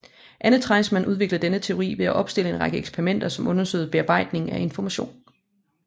Anne Treisman udviklede denne teori ved at opstille en række eksperimenter som undersøgte bearbejdning af information